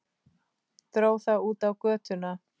Dró það út á götuna.